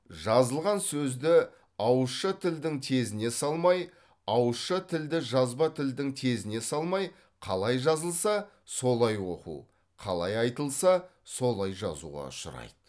жазылған сөзді ауызша тілдің тезіне салмай ауызша тілді жазба тілдің тезіне салмай қалай жазылса солай оқу қалай айтылса солай жазуға ұшырайды